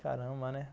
Caramba, né?